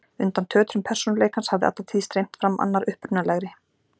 Undan tötrum persónuleikans hafði alla tíð streymt fram annar upprunalegri